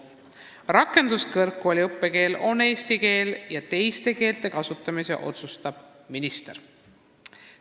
Rakenduskõrgkooli õppekeel on eesti keel ja teiste keelte kasutamise otsustab minister.